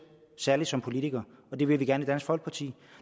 særlig som politiker og det vil vi gerne i dansk folkeparti